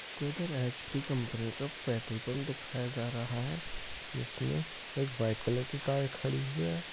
कोई इधर HP. Company का पेट्रोल पम्प दिखाया जा रहा है इसमें एक व्हाइट कलर की कार खड़ी हुई है।